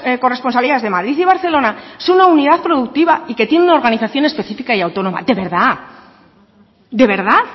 corresponsalías de madrid y barcelona son una unidad productiva y que tienen una organización específica y autónoma de verdad de verdad